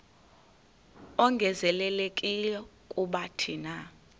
ongezelelekileyo kuba thina